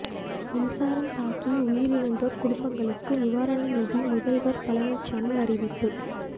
மின்சாரம் தாக்கி உயிரிழந்தோா் குடும்பங்களுக்கு நிவாரண நிதி முதல்வா் பழனிசாமி அறிவிப்பு